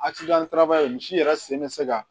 misi yɛrɛ sen bɛ se ka